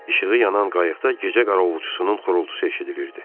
İşığı yanan qayıqda gecə qaravulçusunun xırıltısı eşidilirdi.